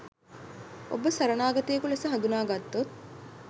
ඔබ සරණාගතයෙකු ලෙස හඳුනාගත්තොත්